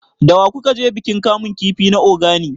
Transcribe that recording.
Da wa ku ka je bikin kamun kifi na Ogani?